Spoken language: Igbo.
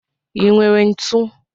I nwere ntụ?